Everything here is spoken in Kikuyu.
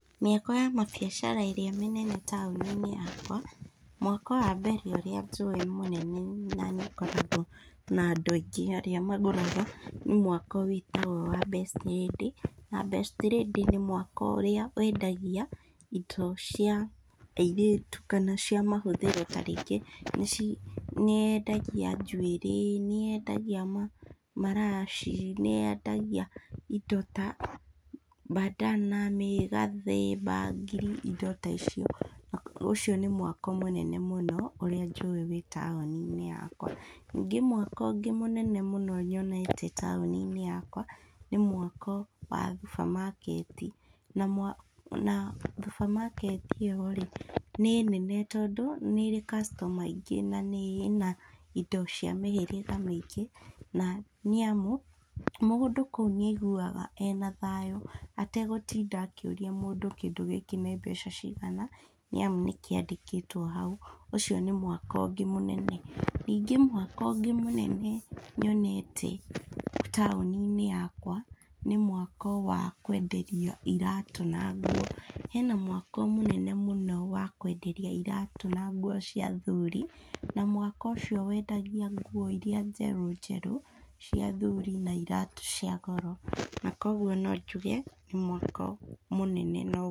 Mĩako ya mabiacara ĩrĩa manene taũni-inĩ yakwa, mwako wa mbere ũrĩa njũĩ mũnene na nĩũkoragwo na andũ aingĩ arĩa magũraga, nĩ mwako wĩtagwo wa Best Lady, na Best Lady nĩ mwako ũrĩa wendagia indo cia airĩtu kana cia mahũthĩro ta rĩngĩ ici, nĩyendagi njuĩrĩ, nĩyendagia ma maraci, nĩyendagia indo ta mbandana, mĩgathĩ, mbangiri indo ta icio, ũcio nĩ mwako mũnene mũno ũrĩa njũĩ wĩ taũni-inĩ yakwa, ningĩ mwako ũngĩ mũnene mũno nyonete taũni-inĩ yakwa, nĩ mwako wa thubamaketi, na mwa na thubamaketi ĩyo rĩ, nĩ nene tondũ nĩrĩ customer aingĩ na ĩna indo ciothe cia mĩhĩrĩga mĩingĩ na nĩamu, mũndũ kũu nĩaiguaga ena thayũ, ategũtinda akĩũria mũndũ kĩndũ gĩkĩ nĩ mbeca cigana nĩamu nĩkĩandĩkĩtwo hau, ũcio nĩ mwako ũngĩ mũnene, ningĩ mwako ũngĩ mũnene nyonete, taũni-inĩ yakwa nĩ mwako wa kwenderia iratũ na nguo, hena mwako mũnene mũno wa kwenderia iratũ na nguo cia athuri, an mwako ũcio wendagia nguo iria njerũ njerũ cia a thuri na iratũ cia goro na koguo nonjuge nĩ mwako mũnene.